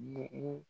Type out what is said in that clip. Ɲɛ o